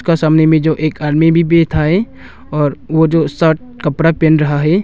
कहां सामने में जो एक आदमी भी बैठा है और वह जो शायद कपड़ा पहन रहा है।